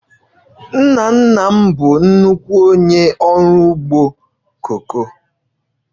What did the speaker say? Nna nna m bụ nnukwu onye ọrụ ugbo koko